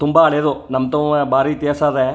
ತುಂಬಾ ಹಳೆದು ನಮ್ಮ್ ತವಾ ಬಾರಿ ಇತಿಹಾಸ ಅದೆ.